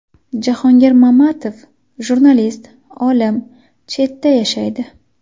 Jahongir Mamatov, jurnalist, olim, chetda yashaydi.